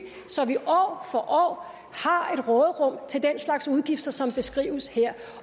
så vi år for år har et råderum til den slags udgifter som beskrives her